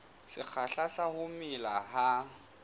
sekgahla sa ho mela ha